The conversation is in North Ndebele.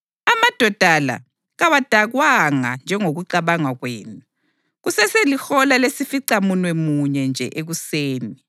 Amadoda la kawadakwanga njengokucabanga kwenu. Kuseselihola lesificamunwemunye nje ekuseni!